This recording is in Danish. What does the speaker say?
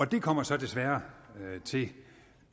det kommer så desværre til